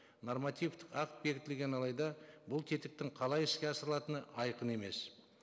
нормативтік акт бекітілген алайда бұл тетіктің қалай іске асырылатыны айқын емес